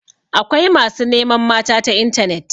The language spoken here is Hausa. Akwai masu neman mata ta intanet.